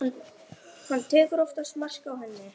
Hann tekur oftast mark á henni.